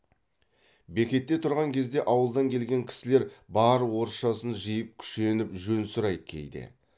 бекетте тұрған кезде ауылдан келген кісілер бар орысшасын жиып күшеніп жөн сұрайды кейде